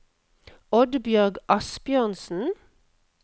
Oddbjørg Asbjørnsen